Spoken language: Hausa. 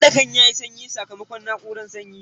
Uwarɗakan yayi sanyi sakamakon na'uran sanyi.